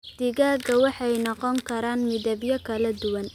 Digaagga waxay noqon karaan midabyo kala duwan.